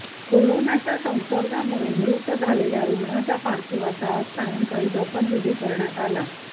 कोरोनाच्या संसर्गामुळे मृत झालेल्या रूग्णाच्या पार्थिवाचा आज सायंकाळी दफनविधी करण्यात आला